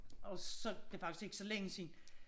Og så det faktisk ikke så længe siden